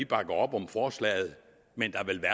bakker op om forslaget men